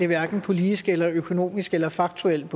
hverken politisk eller økonomisk eller faktuelt